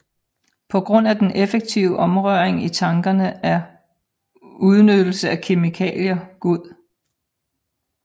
På grund af den effektive omrøring i tankene er udnyttelse af kemikalier god